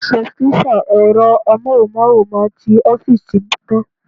Subscription ẹ̀rọ Amóhùnmáwòrán ti ọ́fíìsì ti tán.